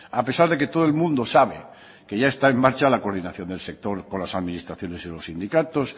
a pesar de que todo el mundo sabe que ya está en marcha la coordinación del sector con las administraciones y los sindicatos